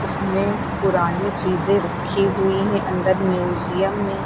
पुरानी चीजें रखी हुई हैं अंदर म्यूजियम में।